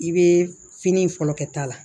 I bɛ fini fɔlɔ kɛ ta la